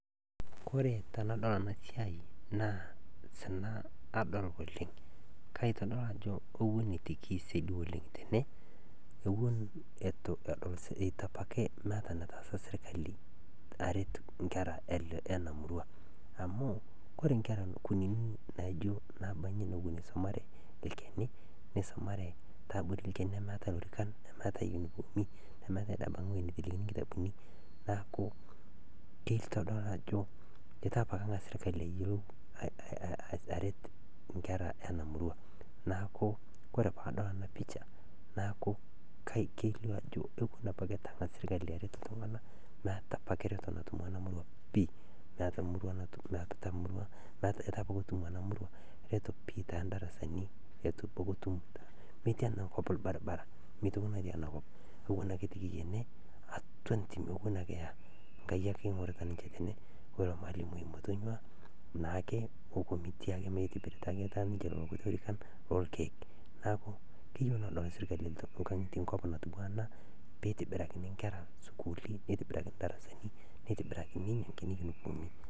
Koree tanadol enasia kaitadol ajobewoi ene itubapake edol serkali aret nkera nemeeta lorikan meeta ewoi naitelekeni nkitabuni neaku kitadolu ajo ituapake engasa serkali aret nkera enamurua neaku ore padol enapisha kelio ajo ituengasa serkali aret iltunganak meeta ake eretoto pii naata emurua itubengasa atum eretoto tiatua emurua metii enakop orbaribara